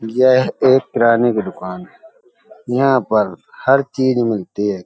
यह एक किराने की दुकान है। यहाँ पर हर चीज़ मिलती है।